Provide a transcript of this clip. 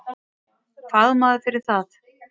Fagmaður fyrir það.